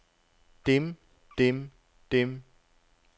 dem dem dem